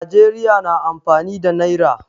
Najeriya na amfani da naira.